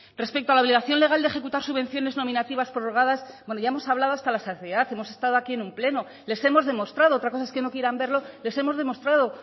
respecto a la obligación legal de ejecutar subvenciones nominativas prorrogadas bueno ya hemos hablado hasta la saciedad hemos estado aquí en un pleno les hemos demostrado otra cosa es que no quieran verlo les hemos demostrado